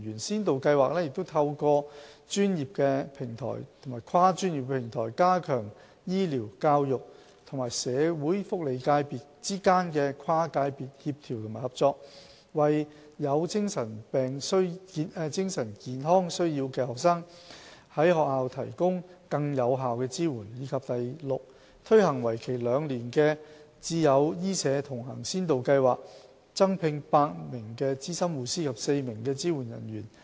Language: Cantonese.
先導計劃透過專業平台及跨專業平台，加強醫療、教育與社會福利界別之間的跨界別協調及合作，為有精神健康需要的學生於學校提供更有效的支援；以及 f 推行為期2年的"智友醫社同行先導計劃"，增聘8名資深護師及4名支援人員。